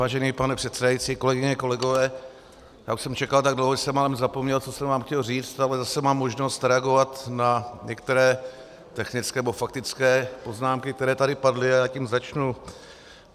Vážený pane předsedající, kolegyně, kolegové, já už jsem čekal tak dlouho, že jsem málem zapomněl, co jsem vám chtěl říct, ale zase mám možnost reagovat na některé technické nebo faktické poznámky, které tady padly, a já tím začnu.